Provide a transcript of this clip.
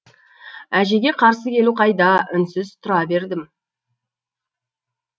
әжеге қарсы келу қайда үнсіз тұра бердім